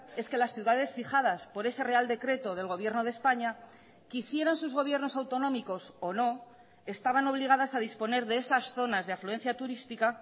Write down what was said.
es que las ciudades fijadas por ese real decreto del gobierno de españa quisieran sus gobiernos autonómicos o no estaban obligadas a disponer de esas zonas de afluencia turística